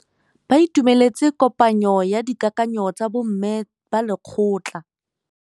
Ba itumeletse kôpanyo ya dikakanyô tsa bo mme ba lekgotla.